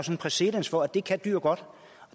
præcedens for at det kan dyr godt